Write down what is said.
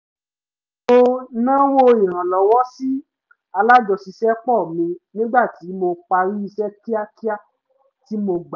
mo nawọ́ ìrànlọ́wọ́ sí alájọṣiṣẹ́pọ̀ mi nígbà tí mo parí iṣẹ́ kíákíá tí mo gbà